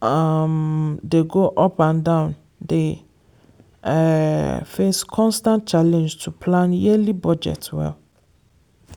um dey go up and down dey um face constant challenge to plan yearly budget well.